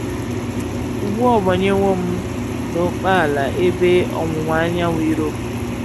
Ugbu a ọ banyewo m n’ókèala ebe ọwụwa anyanwụ Europe.